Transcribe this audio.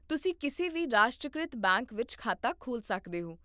ਤੁਸੀਂ ਕਿਸੇ ਵੀ ਰਾਸ਼ਟਰੀਕ੍ਰਿਤ ਬੈਂਕ ਵਿੱਚ ਖਾਤਾ ਖੋਲ੍ਹ ਸਕਦੇ ਹੋ